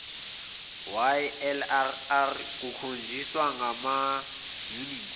ylrr kukhonjiswa ngamayunithi